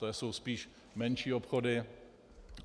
To jsou spíš menší obchody.